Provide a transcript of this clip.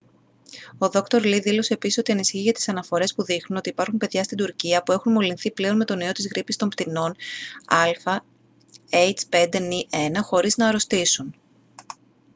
ο δόκτωρ λι δήλωσε επίσης ότι ανησυχεί για τις αναφορές που δείχνουν ότι υπάρχουν παιδιά στην τουρκία που έχουν μολυνθεί πλέον με τον ιό της γρίπης των πτηνών ah5n1 χωρίς να αρρωστήσουν